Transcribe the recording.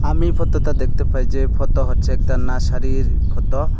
আমি ফতোতে দেখতে পাই যে ফতো হচ্চে একটা নার্সারির ফতো ।